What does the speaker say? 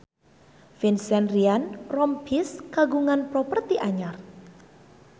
Vincent Ryan Rompies kagungan properti anyar